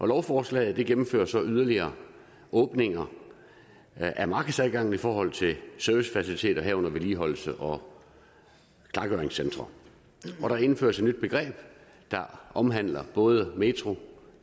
lovforslaget gennemfører så yderligere åbninger af markedsadgangen i forhold til servicefaciliteter herunder vedligeholdelses og klargøringscentre der indføres et nyt begreb der omfatter både metro